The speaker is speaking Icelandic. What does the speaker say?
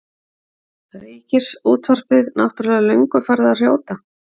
Ríkisútvarpið náttúrlega löngu farið að hrjóta.